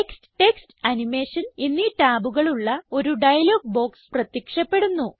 text text animation എന്നീ ടാബുകളുള്ള ഒരു ഡയലോഗ് ബോക്സ് പ്രത്യക്ഷപ്പെടുന്നു